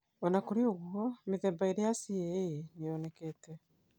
O na kũrĩ ũguo, mĩthemba ĩĩrĩ ya CAA nĩ yonekete.